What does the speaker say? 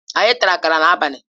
Anyị tara akara n'abalị